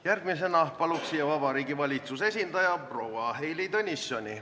Järgmisena paluks siia Vabariigi Valitsuse esindaja, proua Heili Tõnissoni.